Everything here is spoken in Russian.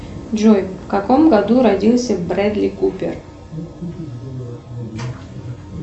джой в каком году родился брэдли купер